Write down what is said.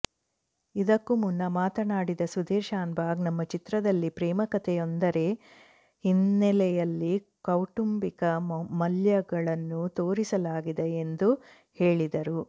ಇದಕ್ಕೂ ಮುನ್ನ ಮಾತನಾಡಿದ ಸುಧೀರ್ ಶಾನ್ಭಾಗ್ ನಮ್ಮ ಚಿತ್ರದಲ್ಲಿ ಪ್ರೇಮಕತೆಯೊಂದರ ಹಿನ್ನೆಲೆಯಲ್ಲಿ ಕೌಟುಂಬಿಕ ಮಲ್ಯಗಳನ್ನು ತೋರಿಸಲಾಗಿದೆ ಎಂದು ಹೇಳಿದರು